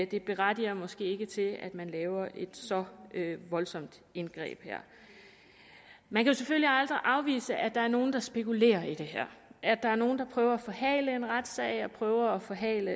det berettiger måske ikke til at man laver et så voldsomt indgreb her man kan selvfølgelig aldrig afvise at der er nogle der spekulerer i det her at der er nogle der prøver at forhale en retssag og prøver at forhale